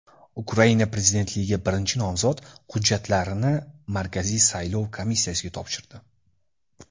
Ukraina prezidentligiga birinchi nomzod hujjatlarini Markaziy saylov komissiyasiga topshirdi.